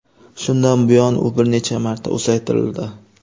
Shundan buyon u bir necha marta uzaytirildi.